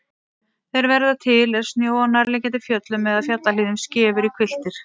Þeir verða til er snjó af nærliggjandi fjöllum eða fjallahlíðum skefur í hvilftir.